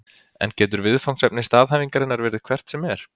En getur viðfangsefni staðhæfingarinnar verið hvert sem er?